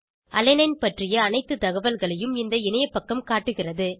alanine பற்றிய அனைத்து தகவல்களையும் இணையப்பக்கம் காட்டுகிறது